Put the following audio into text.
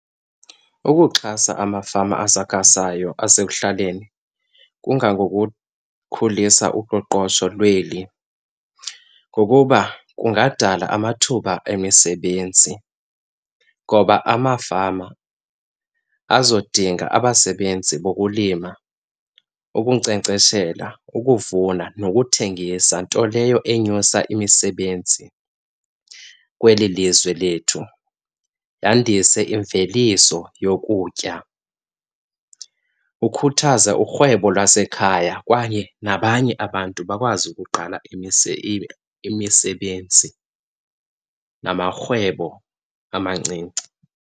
Ukuxhasa amafama asakhasayo asekuhlaleni kungangokukhulisa uqoqosho lweli. Ngokuba kungadala amathuba emisebenzi ngoba amafama azodinga abasebenzi bokulima, ukunkcenkceshela, ukuvuna nokuthengisa, nto leyo enyusa imisebenzi kweli lizwe lethu, yandise imveliso yokutya. Ukhuthaza urhwebo lwasekhaya kwaye nabanye abantu bakwazi ukuqala imisebenzi namarhwebo amancinci.